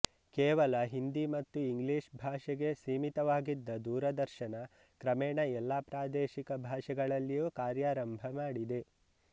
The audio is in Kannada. ಕೇವಲ ಹಿಂದಿ ಮತ್ತು ಇಂಗ್ಲೀಷ್ ಭಾಷೆಗೆ ಸೀಮಿತವಾಗಿದ್ದ ದೂರದರ್ಶನ ಕ್ರಮೇಣ ಎಲ್ಲಾ ಪ್ರಾದೇಶಿಕ ಭಾಷೆಗಳಲ್ಲಿಯೂ ಕಾರ್ಯಾರಂಭ ಮಾಡಿದೆ